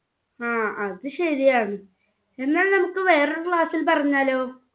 ങ്ഹാ അത് ശരിയാണ്. എന്നാൽ നമുക്ക് വേറൊരു class ൽ പറഞ്ഞാലോ